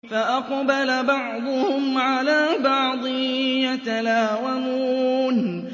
فَأَقْبَلَ بَعْضُهُمْ عَلَىٰ بَعْضٍ يَتَلَاوَمُونَ